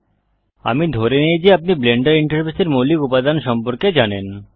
আমি ধরে নেই যে আপনি ব্লেন্ডার ইন্টারফেসের মৌলিক উপাদান সম্পর্কে জানেন